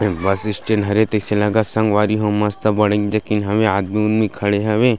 बस stand हरे संग सिलागा संग वारी हो मस्त बड़े जो की हन आदमी उदमी खड़े हॉवे --